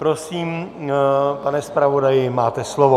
Prosím, pane zpravodaji, máte slovo.